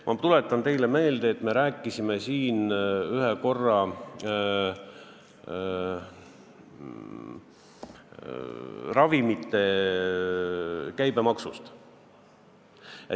Ma tuletan teile meelde, et me rääkisime siin kord ravimite käibemaksust.